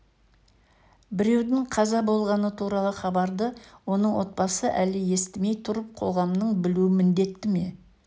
біреудің қаза болғаны туралы хабарды оның отбасы әлі естімей тұрып қоғамның білуі міндетті ме